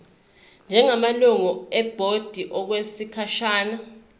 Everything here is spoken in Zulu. njengamalungu ebhodi okwesikhashana